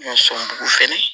So dugu fɛnɛ